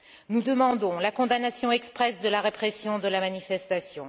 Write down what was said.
Nous demandons la condamnation expresse de la répression de la manifestation.